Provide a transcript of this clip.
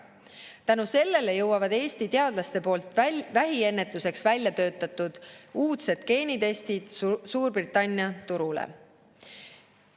Tänu sellele jõuavad Eesti teadlaste poolt vähiennetuseks väljatöötatud uudsed geenitestid Suurbritannia turule.